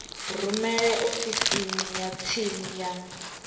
rumele ofisini ya tsini ya